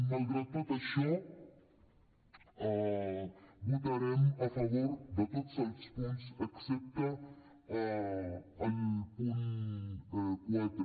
malgrat tot això votarem a favor de tots els punts excepte al punt quatre